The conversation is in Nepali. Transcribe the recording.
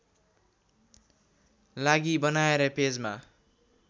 लागि बनाएर पेजमा